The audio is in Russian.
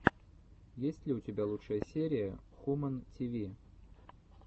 есть ли у тебя лучшая серия хумэн ти ви